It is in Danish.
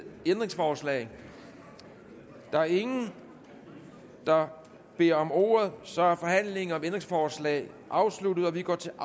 ændringsforslag der er ingen der beder om ordet så er forhandlingen om ændringsforslaget afsluttet og vi går til